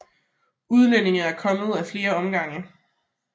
Udlængerne er kommet til af flere omgange